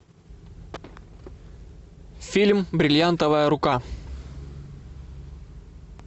фильм бриллиантовая рука